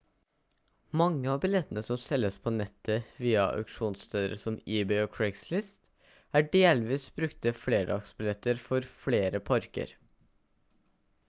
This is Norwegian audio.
mange av billettene som selges på nettet via auksjonssteder som ebay og craigslist er delvis brukte flerdagsbilletter for flere parker